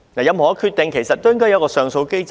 任何決定都應該設有上訴機制。